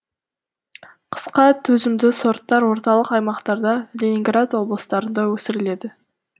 қысқа төзімді сорттар орталық аймақтарда ленинград облыстарында өсіріледі